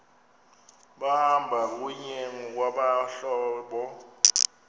behamba kunye ngokwabahlobo